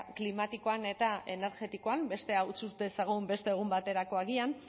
klimatikoan eta energetikoan bestea utz dezagun beste egun baterako agian